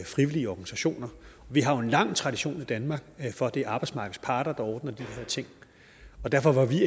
frivillige organisationer vi har jo en lang tradition i danmark for at det er arbejdsmarkedets parter der ordner de her ting og derfor var vi